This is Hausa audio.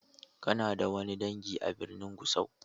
Kana da wani dangi a birnin Gusau?